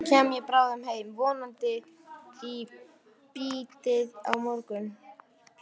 Svo kem ég bráðum heim, vonandi í bítið á morgun.